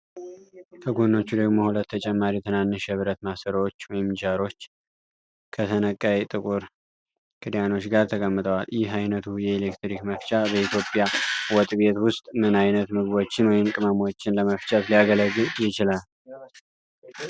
ከጎኖቹ ደግሞ ሁለት ተጨማሪ ትናንሽ የብረት ማሰሮዎች (ጃሮች) ከተነቃይ ጥቁር ክዳኖች ጋር ተቀምጠዋል። ይህ ዓይነቱ የኤሌክትሪክ መፍጫ በኢትዮጵያ ወጥ ቤት ውስጥ ምን ዓይነት ምግቦችን ወይም ቅመሞችን ለመፍጨት ሊያገለግል ይችላል?